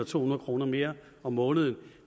to hundrede kroner mere om måneden